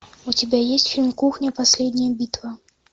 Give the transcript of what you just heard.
у тебя есть фильм кухня последняя битва